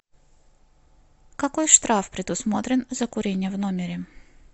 какой штраф предусмотрен за курение в номере